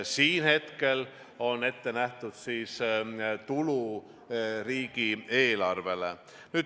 Siin on hetkel ette nähtud tulu riigieelarvele.